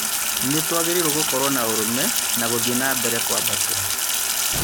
Nĩ tũagĩrĩirwo gũkorwo na ũrũme na gũthiĩ nambere kũambatĩra.